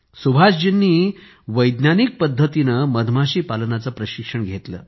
सुभाषजींनी वैज्ञानिक पद्धतीनं मधमाशी पालनाचं प्रशिक्षण घेतलं